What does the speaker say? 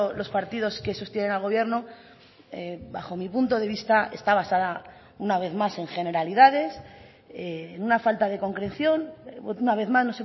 los partidos que sostienen al gobierno bajo mi punto de vista está basada una vez más en generalidades en una falta de concreción una vez más